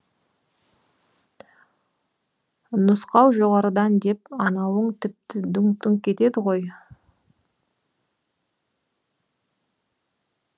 нұсқау жоғарыдан деп анауың тіпті дүңк дүңк етеді ғой